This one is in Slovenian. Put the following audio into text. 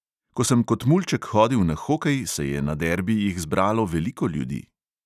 Ko sem kot mulček hodil na hokej, se je na derbijih zbralo veliko ljudi.